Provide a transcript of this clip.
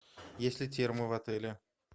есть ли термо в отеле